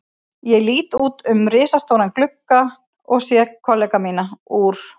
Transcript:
Ég lít út um risastóran gluggann og sé kollega mína úr